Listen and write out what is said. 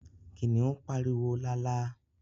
Kìnìún pariwo lálá